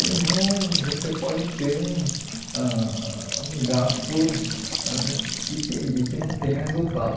Senão, você pode ter um ãh um gasto ãh que que que não tenha resultado.